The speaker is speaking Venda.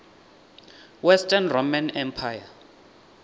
western roman empire